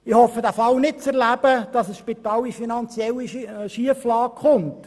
Ich hoffe den Fall nicht zu erleben, dass ein Spital in eine finanzielle Schieflage gerät.